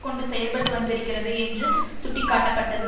கொண்டு செயல்பட்டு வந்திருக்கிறது என்று சுட்டிக்காட்டப்பட்டது